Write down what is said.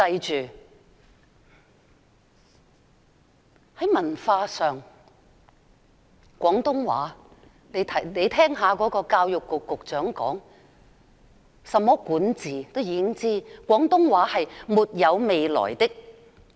在文化上，就廣東話而言，教育局局長曾說，"除在香港，廣東話基本上是沒有未來的"。